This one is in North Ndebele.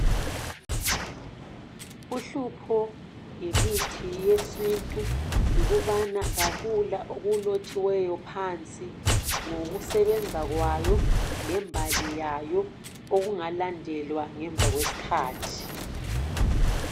Uhlupho ngemithi yesintu yikubana akula okulotshiweyo phansi ngokusebenza kwayo, lembali yayo, okungalandelwa ngemva kwesikhathi.